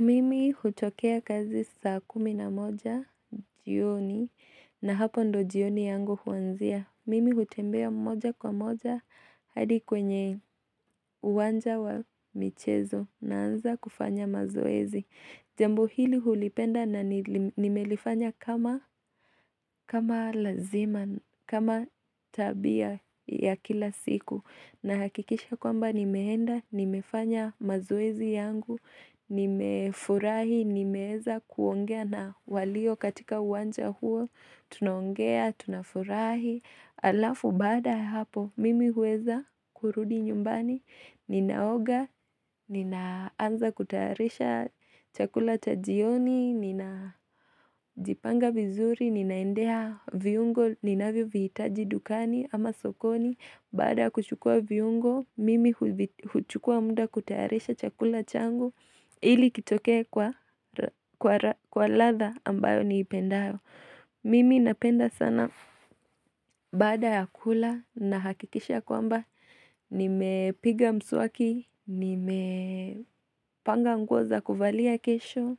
Mimi hutokea kazi saa kumi na moja, jioni, na hapo ndio jioni yangu huanzia. Mimi hutembea moja kwa moja hadi kwenye uwanja wa michezo na anza kufanya mazoezi. Jambo hili hulipenda na nimelifanya kama lazima, kama tabia ya kila siku. Na hakikisha kwamba nimeenda, nimefanya mazoezi yangu, nimefurahi, nimeweza kuongea na walio katika uwanja huo, tunaongea, tunafurahi, alafu bada hapo mimi huweza kurudi nyumbani, ninaoga, ninaanza kutayarisha chakula cha jioni, ninajipanga vizuri, ninaendea viungo, ninavyo vihitaji dukani ama sokoni, Bada kuchukua viungo, mimi huchukua muda kutayarisha chakula changu ili kitoke kwa latha ambayo niipendayo. Mimi napenda sana baada ya kula na hakikisha kwamba nime piga mswaki, nime panga nguo za kuvalia kesho,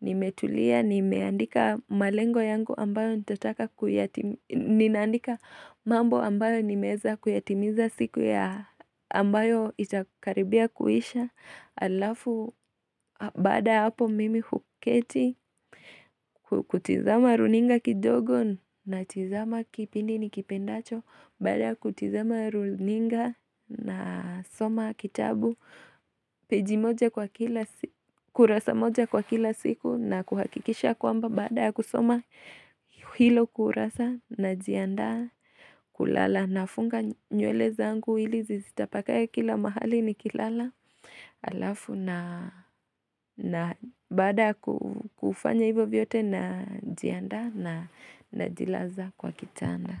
nime tulia, nimeandika malengo yangu ambayo nitataka kuyatimi, ninaandika mambo ambayo nimeza kuyatimiza siku ya ambayo itakaribia kuisha. Alafu baada ya hapo mimi huketi kutizama runinga kidogo na tizama kipindi ni kipendacho baada kutizama runinga na soma kitabu peji moja kurasa moja kwa kila siku na kuhakikisha kwamba baada ya kusoma hilo kurasa na jiandaa kulala na funga nywele zangu ili zisitapakae kila mahali nikilala alafu na baada ya kufanya hivyo vyote na jiandaa na jilaza kwa kitanda.